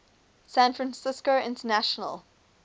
san francisco international